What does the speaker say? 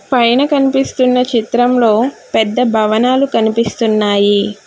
పైన కనిపిస్తున్న చిత్రంలో పెద్ద భవనాలు కనిపిస్తున్నాయి.